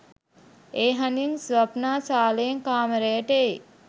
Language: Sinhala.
ඒ හඬින් ස්වප්නා සාලයෙන් කාමරයට එයි